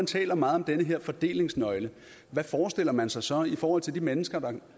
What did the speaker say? taler meget om den her fordelingsnøgle hvad forestiller man sig så i forhold til de mennesker